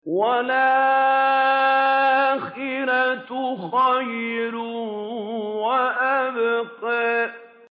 وَالْآخِرَةُ خَيْرٌ وَأَبْقَىٰ